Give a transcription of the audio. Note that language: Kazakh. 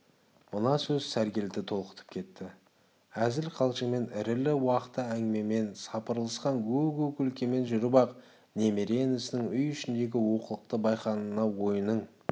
мына сөз сәргелді толқытып кетті әзіл-қалжыңмен ірілі-уақты әңгімемен сапырылысқан гу-гу күлкімен жүріп-ақ немере інісінің үй ішіндегі олқылықты байқағанына ойының